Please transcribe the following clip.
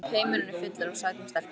Heimurinn er fullur af sætum stelpum!